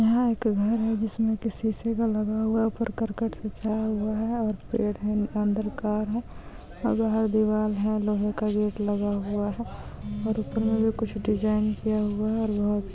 यहां एक घर है जिसमें किसी से का लगा हुआ ऊपर करकट सजा हुआ है। और पेड़ है अंदर कर है। दिवाल है लोहे का गेट लगा हूआ हैहै और उपर मे कूछ डिजाइन किआ हूआ है लोहे--